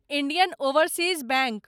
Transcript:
Indian Overseas bank